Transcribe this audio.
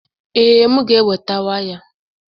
Ee, m ga-eweta waya.